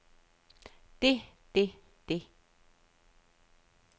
det det det